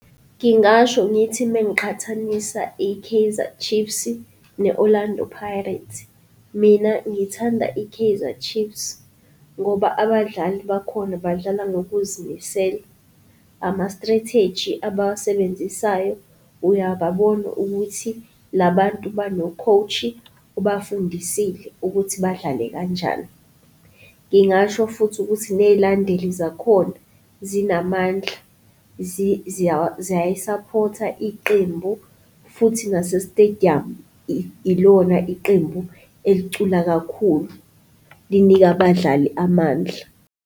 Ngingasho ngithi mengiqhathanisa i-Kaizer Chiefs ne-Orlando Pirates, mina ngithanda i-Kaizer Chiefs ngoba abadlali bakhona badlala ngokuzimisela. Ama-strategy abawusebenzisayo, uyababona ukuthi labantu bano-coach-i ubafundisile ukuthi badlale kanjani. Ngingasho futhi ukuthi ney'landeli zakhona zinamandla ziyayi-support-a iqembu futhi nase-stadium ilona iqembu elicula kakhulu, linika abadlali amandla.